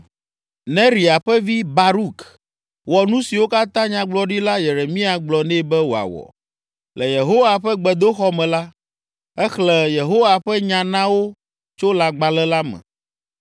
Neria ƒe vi, Baruk wɔ nu siwo katã Nyagblɔɖila Yeremia gblɔ nɛ be wòawɔ. Le Yehowa ƒe gbedoxɔ me la, exlẽ Yehowa ƒe nya na wo tso lãgbalẽ la me.